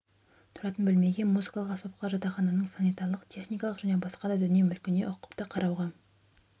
тұратын бөлмеге музыкалық аспапқа жатақхананың санитарлық-техникалық және басқа да дүние-мүлкіне ұқыпты қарауға